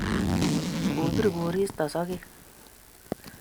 kopir koristo sogek